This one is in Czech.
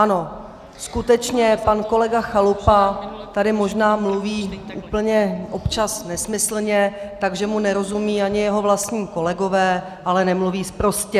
Ano, skutečně, pan kolega Chalupa tady možná mluví úplně občas nesmyslně, takže mu nerozumí ani jeho vlastní kolegové, ale nemluví sprostě.